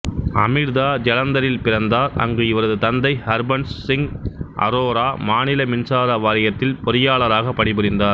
அமிர்தா ஜலந்தரில் பிறந்தார் அங்கு இவரது தந்தை ஹர்பன்ஸ் சிங் அரோரா மாநில மின்சார வாரியத்தில் பொறியாளராக பணிபுரிந்தார்